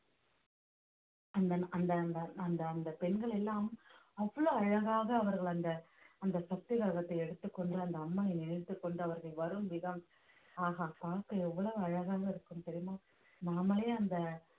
அந்த அந்த அந்த அந்த அந்த பெண்கள் எல்லாம் அவ்வளவு அழகாக அவர்கள் அந்த அந்த சக்தி கிரகத்தை எடுத்துக்கொண்டு அந்த அம்மனை நினைத்துக் கொண்டு அவர்கள் வரும் விதம் ஆஹா பார்க்க எவ்வளவு அழகாக இருக்கும் தெரியுமா நாமளே அந்த